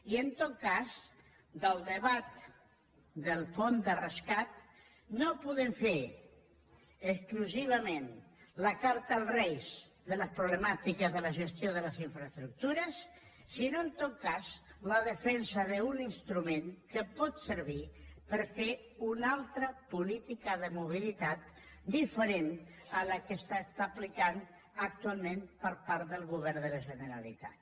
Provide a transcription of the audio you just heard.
i en tot cas del debat del fons de rescat no en podem fer exclusivament la carta als reis de les problemàtiques de la gestió de les infraestructures sinó en tot cas la defensa d’un instrument que pot servir per fer una altra política de mobilitat diferent de la que aplica actualment el govern de la generalitat